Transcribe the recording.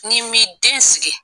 N'i m'i den sigi!